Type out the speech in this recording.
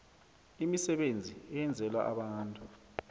imisebenzi eyenzelwa abantu